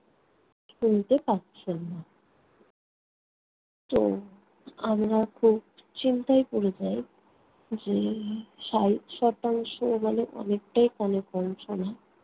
শুনতে পাচ্ছেন না। তো আমরা খুব চিন্তায় পড়ে যাই। যে ষাট শতাংশ মানে অনেকটাই কানে কম শোনা।